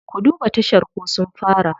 Ku duba tashar ko sun fara.